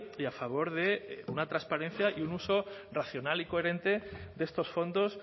y a favor de una transparencia y un uso racional y coherente de estos fondos